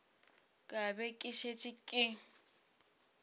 ka be ke šetše ke